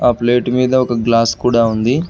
ఆ ప్లేటు మీద ఒక గ్లాస్ కూడా ఉంది.